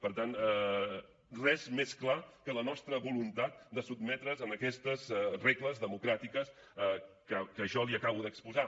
per tant res més clar que la nostra voluntat de sotmetre’ns a aquestes regles democràtiques que jo li acabo d’exposar